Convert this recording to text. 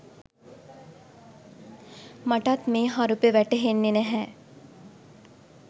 මටත් මේ හරුපෙ වැටහෙන්නෙ නැහැ